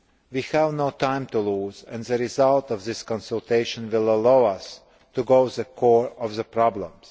We have no time to lose, and the result of this consultation will allow us to go to the core of the problems.